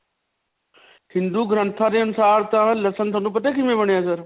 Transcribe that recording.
ਹਿੰਦੂ ਗ੍ਰੰਥਾਂ ਦੇ ਅਨੁਸਾਰ ਤਾਂ ਲਸਨ ਤੁਹਾਨੂੰ ਪਤਾ ਹੈ ਕਿਵੇਂ ਬਣਿਆ sir?